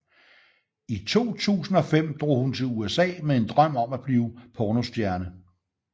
I 2005 drog hun til USA med en drøm om at blive pornostjerne